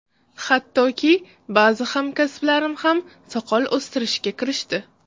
Hattoki, ba’zi hamkasblarim ham soqol o‘stirishga kirishdi.